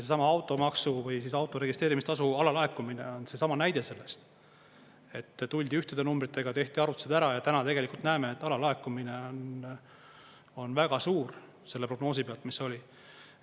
Seesama automaksu või auto registreerimistasu alalaekumine on seesama näide sellest, et tuldi ühtede numbritega, tehti arvutused ära ja täna tegelikult näeme, et alalaekumine on väga suur selle prognoosi pealt, mis oli.